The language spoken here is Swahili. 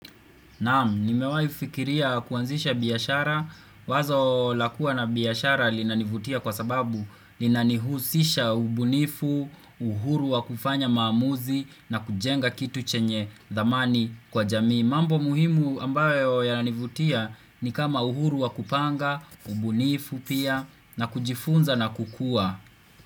Naam, nimewahi fikiria kuanzisha biashara. Wazo la kuwa na biashara linanivutia kwa sababu linanihusisha ubunifu, uhuru wa kufanya maamuzi na kujenga kitu chenye dhamani kwa jamii. Mambo muhimu ambayo yananivutia ni kama uhuru wa kupanga, ubunifu pia na kujifunza na kukua.